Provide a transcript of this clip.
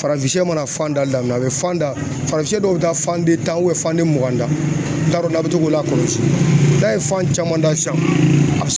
Farafinya mana fan dali daminɛ a bɛ fan da, farafin dɔw bɛ taa fan den tan fan de mugan da. N t'a dɔn n'a be to k'o lakɔlɔsi n'a ye fan caman da sisan a